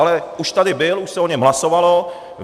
Ale už tady byl, už se o něm hlasovalo.